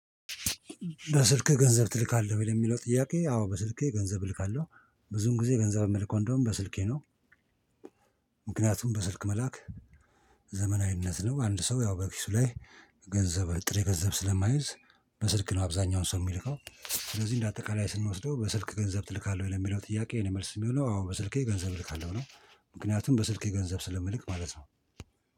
በስልክ ገንዘብ ትልካለህ ሆይ? ለሚለው ጥያቄ፤ አዎ በስልኬ ገንዘብ እልካለሁ። ብዙዉን ጊዜ ገንዘብ እምልከው እንደውም በስልኬ ነው። ምክንያቱም በስልክ መላክ ዘመናዊነት ነው። አንድ ሰው ያው በኪሱ ላይ ገንዘብ ጥሬ ገንዘብ ስለማይዝ በስልክ ነው አብዛኛው ሰው እሚልከው። ስለዚህ እንደ አጠቃላይ ስንወስደው "በስልክ ገንዘብ ትልካለህ ወይ?" ለሚለው ጥያቄ የኔ መልስ የሚሆነው አዎ በስልኬ ገንዘብ እልካለሁ ነው ምክንያቱም በስልኬ ገንዘብ ስለምልክ ማለት ነው